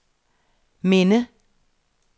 minde